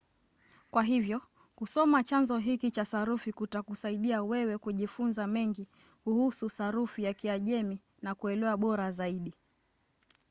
kwa hivyo kusoma chanzo hiki cha sarufi kutakusaidia wewe kujifunza mengi kuhusu sarufi ya kiajemi na kuelewa bora zaidi